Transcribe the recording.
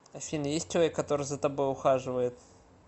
афина есть человек который за тобой ухаживает